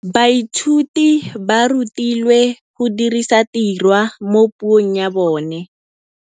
Baithuti ba rutilwe go dirisa tirwa mo puong ya bone.